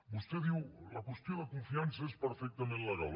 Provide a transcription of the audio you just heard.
vostè diu la qüestió de confiança és perfectament legal